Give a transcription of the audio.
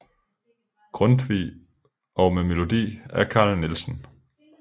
Grundtvig og med melodi af Carl Nielsen